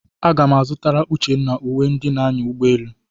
Aga m a zụtara Uchenna uwe ndị na-anya ụgbọelu.